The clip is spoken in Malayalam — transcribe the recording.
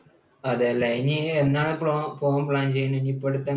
അതല്ലേ ഇനി എന്നാണ് അപ്പോൾ പോകാൻ pan ചെയ്യുന്നത് ഇനിയിപ്പോൾ